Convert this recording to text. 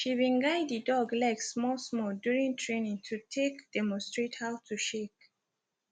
she been guide the dog leg small small during training to take demonstrate how to shake